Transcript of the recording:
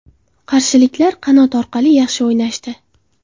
Qarshiliklar qanot orqali yaxshi o‘ynashdi.